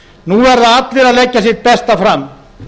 nú verða allir að leggja sitt besta fram